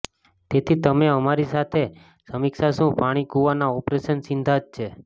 તેથી અમે તમારી સાથે સમીક્ષા શું પાણી કૂવાના ઓપરેશન સિદ્ધાંત છે